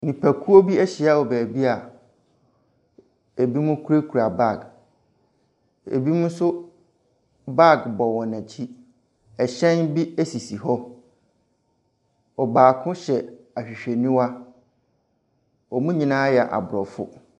Nnipakuo bi ahyia mu wɔ baabi a ebinom kuta baage. Ebinom nso baage bɔ wɔn akyi, ɛhyɛn bi ɛsisi hɔ, ɔbaako hyɛ ahwehwɛniwa, wɔn nyinaa yɛ abrɔfo.